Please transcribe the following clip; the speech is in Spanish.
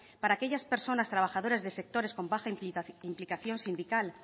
para aquellas personas trabajadoras de sectores con baja